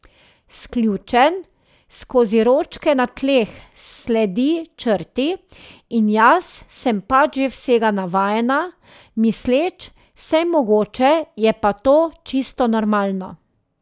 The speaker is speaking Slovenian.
Sključen, skozi ročke na tleh sledi črti in jaz sem pač že vsega navajena, misleč, sej mogoče je pa to čisto normalno.